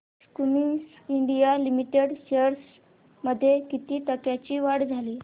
Cummins India limited shares मध्ये किती टक्क्यांची वाढ झाली